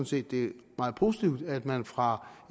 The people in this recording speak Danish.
set det er meget positivt at man fra